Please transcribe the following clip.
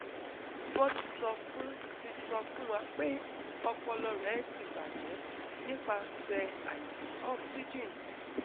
Won ti so fun ti so fun wa pe opolo re ti baje nipapse aisi oxygen